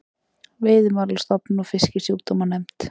Veiðimálastofnun og Fisksjúkdómanefnd.